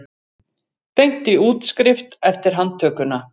Beint í útskrift eftir handtökuna